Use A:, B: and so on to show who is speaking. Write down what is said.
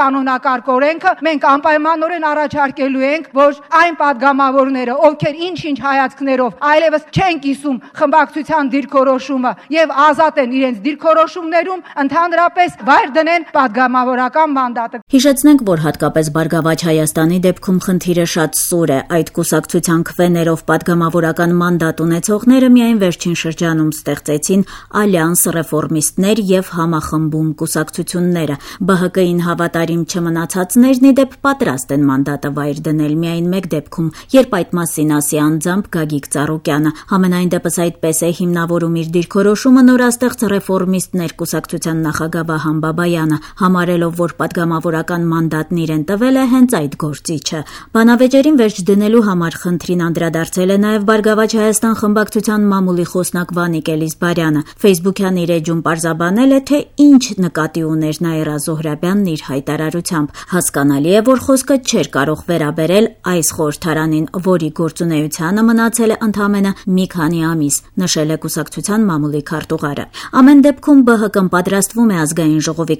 A: կանոնակարգ-օրենքը, մենք անպայմանորեն առաջարկելու ենք, որ այն պատգամավորները, ովքեր ինչ-ինչ հայացքներով այլեւս չեն կիսում խմբակցության դիրքորոշումը եւ ազատ են իրենց դիրքորոշումներում ընդհանրապես վայր դնեն պատգամավորական
B: մանդատը»: Հիշեցնենք, որ հատկապես Բարգավաճ Հայաստանի դեպքում խնդիրը շատ սուր է: Այդ կուսակցության քվեներով պատգամավորական մանդատ ունեցողները միայն վերջին շրջանում ստեղծեցին «Ալյանս», «Ռեֆորմիստներ» եւ «Համախմբում» կուսակցությունները: ԲՀԿ-ին հավատարիմ չմնացածները, ի դեպ՝ պատրաստ են մանդատը վայր դնել միայն մեկ դեպքում՝ երբ այդ մասին ասի անձամբ Գագիկ Ծառուկյանը: Համենայնդեպս, այդպես է հիմնավորում իր դիրքորոշումը նորաստեղծ «Ռեֆորմիստներ» կուսակցության նախագահ Վահան Բաբայանը՝ համարելով, որ պատգամավորական մանդատն իրեն տվել է հենց այդ գործիչը: Բանավեճերին վերջ դնելու համար խնդրին անդրադարձել է նաեւ «Բարգավաճ Հայաստան» կուսակցության մամուլի խոսնակ Վանիկ Էլիզբարյանը: Ֆեյսբուքյան իր էջում պարզաբանել է, թե ինչ նկատի ուներ Նաիրա Զոհրաբյանը՝ իր հայտարարությամբ: «Հասկանալի է, որ խոսքը չէր կարող վերաբերել այս խորհրդարանին, որի գործունեությանը մնացել է ընդամենը մի քանի ամիս»,- նշել է կուսակցության մամուլի քարտուղարը: Ամեն դեպքում ԲՀԿ-ն պատրաստվում է Աժ